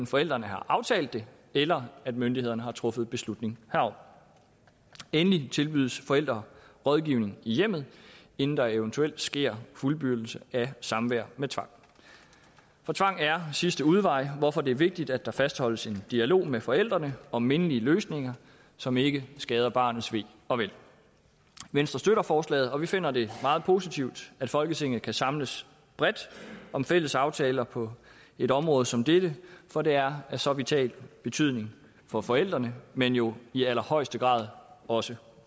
forældrene har aftalt det eller når myndighederne har truffet beslutning herom endelig tilbydes forældre rådgivning i hjemmet inden der eventuelt sker fuldbyrdelse af samvær med tvang for tvang er sidste udvej hvorfor det er vigtigt at der fastholdes en dialog med forældrene om mindelige løsninger som ikke skader barnets ve og vel venstre støtter forslaget og vi finder det meget positivt at folketinget kan samles bredt om fælles aftaler på et område som dette for det er af så vital betydning for forældrene men jo i allerhøjeste grad også